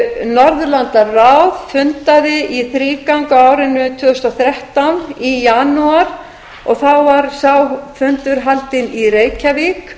norðurlandaráð fundaði í þrígang á árinu tvö þúsund og þrettán í janúar og þá var sá fundur haldinn í reykjavík